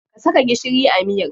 Ka saka gishiri a miyar.